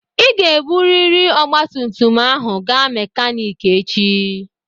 Ị ga-eburịrị ọgba tum tum ahụ gaa mekaniki echi!